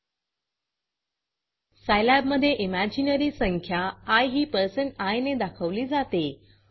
Scilabसाईलॅब मधे इमेजिनरी संख्या आय ही पर्सेंट आय ने दाखवली जाते